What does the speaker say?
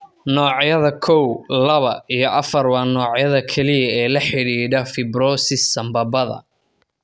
Noocyada kow, lawa iyo afar waa noocyada kaliya ee la xidhiidha fibrosis sambabada.